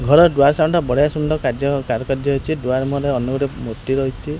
ଘର ଦୁଆ ସାଉଣ୍ଡ ଟା ବଢ଼ିଆ ସୁନ୍ଦର କାର୍ଯ୍ୟ କାରୁକାର୍ଯ୍ୟ ହେଇଛି ଦୁଆର ମୁହଁ ରେ ଅନ୍ୟ ଏକ ମୂର୍ତ୍ତି ଅଛି।